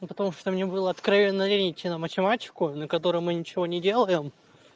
ну потому что мне было откровенно лень идти на математику на которой мы ничего не делаем